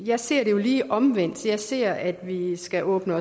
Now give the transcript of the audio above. jeg ser det jo lige omvendt jeg ser at vi skal åbne